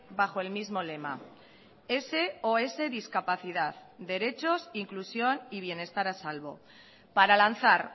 bajo el mismo lema sos discapacidad derechos inclusión y bienestar a salvo para lanzar